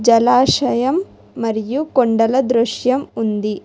తలాశయం మరియు కొండల దృశ్యం ఉంది.